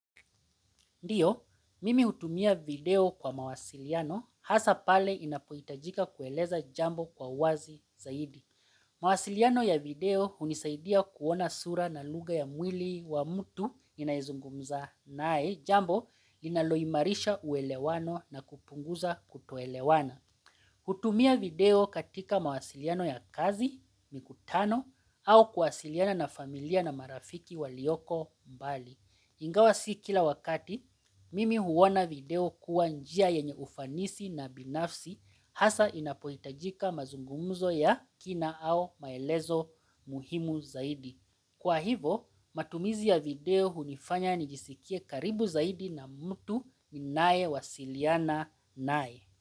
Ndiyo, mimi hutumia video kwa mawasiliano, hasa pale inapohitajika kueleza jambo kwa uwazi zaidi. Mawasiliano ya video hunisaidia kuona sura na lugha ya mwili wa mtu ninayezungumza naye jambo linalo imarisha uelewano na kupunguza kutoelewana. Hutumia video katika mawasiliano ya kazi, mikutano, au kuwasiliana na familia na marafiki walioko mbali. Ingawa si kila wakati, mimi huona video kuwa njia yenye ufanisi na binafsi hasa inapohitajika mazungumzo ya kina au maelezo muhimu zaidi. Kwa hivyo, matumizi ya video hunifanya nijisikie karibu zaidi na mtu ninayewasiliana naye.